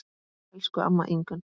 Elsku amma Ingunn.